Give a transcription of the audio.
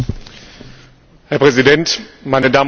Herr Präsident, meine Damen und Herren Kollegen!